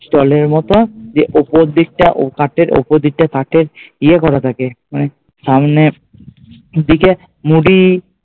stall এর মতো দিয়ে ওপর দিকটা কাঠের ওপর দিকটা কাঠের ইয়ে করা থাকে মানে সামনে দিকে মুড়ি